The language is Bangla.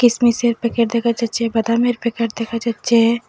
কিসমিসের প্যাকেট দেখা যাচ্চে বাদামের প্যাকেট দেখা যাচ্চে।